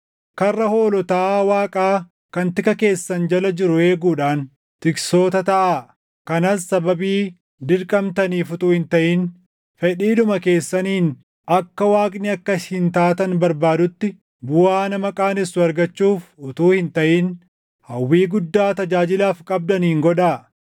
karra hoolotaa Waaqaa kan tika keessan jala jiru eeguudhaan tiksoota taʼaa; kanas sababii dirqamtaniif utuu hin taʼin fedhiidhuma keessaniin akka Waaqni akka isin taatan barbaadutti, buʼaa nama qaanessu argachuuf utuu hin taʼin hawwii guddaa tajaajilaaf qabdaniin godhaa;